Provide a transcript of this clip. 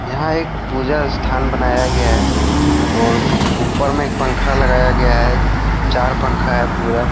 यहां एक पूजा स्थान बनाया गया है और ऊपर में एक पंखा लगाया गया है चार पंखा है पूरा।